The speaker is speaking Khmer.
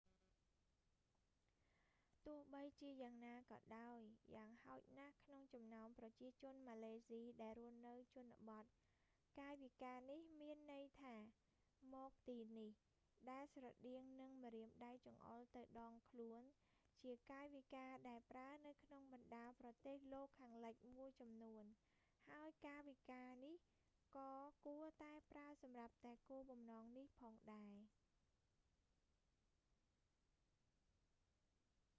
ទោះបីជាយ៉ាងណាក៏ដោយ យ៉ាងហោចណាស់ក្នុងចំណោមប្រជាជនម៉ាឡេស៊ីដែលរស់នៅជនបទ កាយវិការនេះមានន័យថា មកទីនេះ ដែលស្រដៀងនឹងម្រាមដៃចង្អុលទៅដងខ្លួន ជាកាយវិការដែលប្រើនៅក្នុងបណ្តាប្រទេសលោកខាងលិចមួយចំនួន ហើយកាយវិការនេះក៏គួរតែប្រើសម្រាប់តែគោលបំណងនេះផងដែរ